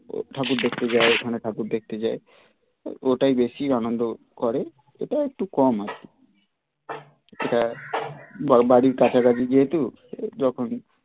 ঠাকুর দেখতে যায় এখানে ঠাকুর দেখতে যায় ওটাই বেশি আনন্দ করে ওটা একটু কম হয় ওটা বাড়ির কাছাকাছি যেহেতু ওই যখন